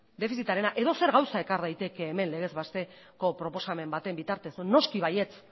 defizitarena edozer gauza ekar daiteke hemen legez besteko proposamen baten bitartez noski baietz